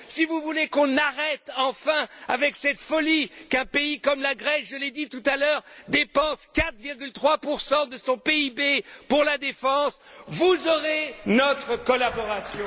Si vous voulez qu'on arrête enfin cette folie qu'un pays comme la Grèce je l'ai dit tout à l'heure dépense 4,3 de son PIB pour la défense, vous aurez notre collaboration.